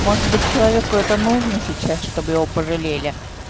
может быть человеку это нужно сейчас чтобы его пожалели